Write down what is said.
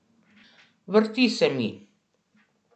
Vrti se mi.